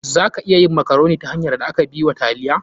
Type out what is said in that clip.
Za a iya yin makaroni ta hanyar da aka bi wa taliya.